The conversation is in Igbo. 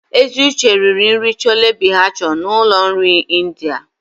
Eziuche riri nri Chole bhature na ụlọ nri India.